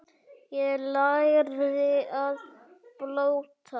Ég lærði að blóta.